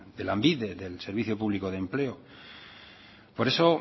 de lanbide del servicio público de empleo por eso